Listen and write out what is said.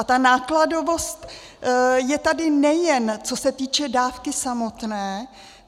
A ta nákladovost je tady, nejen co se týče dávky samotné.